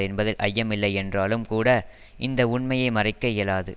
என்பதில் ஐயமில்லை என்றாலும் கூட இந்த உண்மையை மறைக்க இயலாது